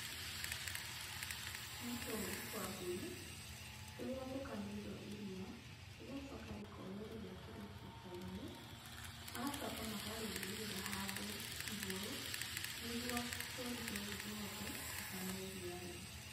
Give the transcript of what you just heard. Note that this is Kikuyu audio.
Nĩ tũũri twa mbũri, tũrĩa tũkamĩirwo iria, rĩgacoka rĩkoywo rĩgekĩrwo cuba-inĩ, magacoka makarĩigĩrĩra handũ igũrũ, nĩguo tũũri tũtũ tũhote gũkama iria rĩu.